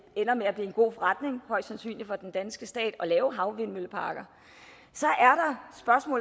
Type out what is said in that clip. ender med at blive en god forretning for den danske stat at lave havvindmølleparker så